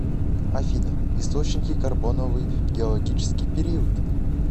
афина источники карбоновый геологический период